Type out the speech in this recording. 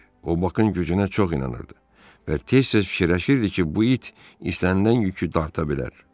O Bakın gücünə çox inanırdı və tez-tez fikirləşirdi ki, bu it istənilən yükü dartıb bilər.